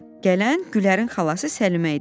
Gələn Gülərin xalası Səlimə idi.